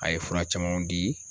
A ye fura camanw diii.